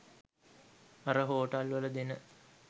අර හෝටල් වල දෙන